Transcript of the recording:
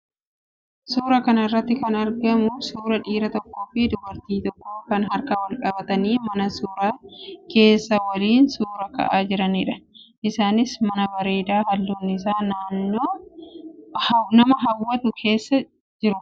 Suuraa kana irraa kan argaa jirru suuraa dhiira tokkoo fi dubartii tokkoo kan harka wal qabatanii mana suuraa keessa waliin suuraa ka'aa jiranidha. Isaanis mana bareedaa halluun isaa nama hawwatu keessa jiru.